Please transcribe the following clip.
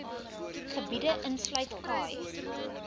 gebiede insluit khai